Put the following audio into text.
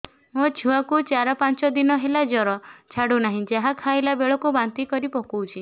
ମୋ ଛୁଆ କୁ ଚାର ପାଞ୍ଚ ଦିନ ହେଲା ଜର ଛାଡୁ ନାହିଁ ଯାହା ଖାଇଲା ବେଳକୁ ବାନ୍ତି କରି ପକଉଛି